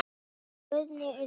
Guðný Unnur.